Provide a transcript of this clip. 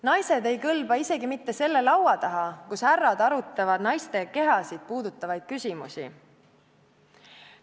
Naised ei kõlba isegi mitte selle laua taha, kus härrad arutavad naiste kehasid puudutavaid küsimusi.